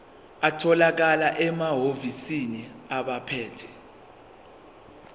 atholakala emahhovisi abaphethe